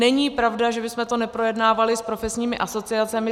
Není pravda, že bychom to neprojednávali s profesními asociacemi.